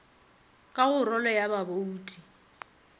ka go rolo ya babouti